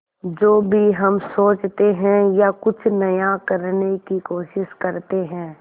जो भी हम सोचते हैं या कुछ नया करने की कोशिश करते हैं